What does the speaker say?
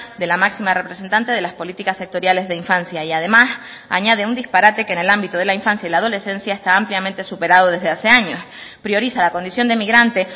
de la máxima representante de las políticas sectoriales de infancia y además añade un disparate que en el ámbito de la infancia y la adolescencia está ampliamente superado desde hace años prioriza la condición de inmigrante